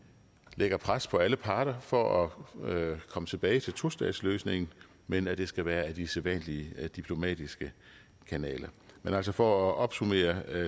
lægger pres på alle parter for at komme tilbage til tostatsløsningen men at det skal være ad de sædvanlige diplomatiske kanaler men altså for at opsummere